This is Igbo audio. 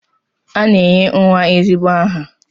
A na-enye nwa ezigbo aha